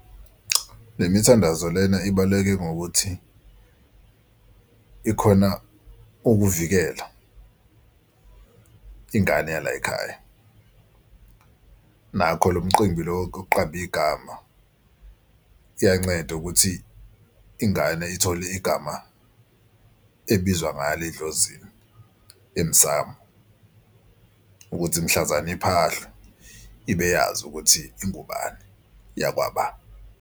Imithandazo lena ibaluleke ngokuthi ikhona ukuvikela ingane yala yikhaya. Nakho lo mqimbi lo wokuqamba igama liyanceda ukuthi ingane ithole igama ebizwa ngalo edlozini emsamu. Ukuthi mhlazane imphahla ibe yazi ukuthi ingubani eyakwaba.